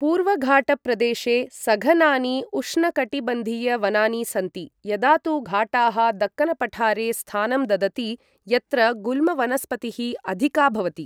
पूर्वघाटप्रदेशे सघनानि उष्णकटिबंधीयवनानि सन्ति, यदा तु घाटाः दक्कनपठारे स्थानं ददति, यत्र गुल्मवनस्पतिः अधिका भवति